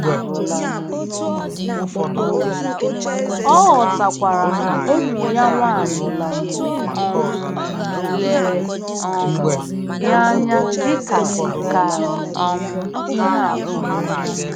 Ọ ghọtakwara na ụmụ ya nwanyị um lere um ya anya dị ka ka um ihe atụ.